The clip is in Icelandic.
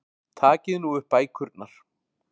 Takið nú upp bækurnar.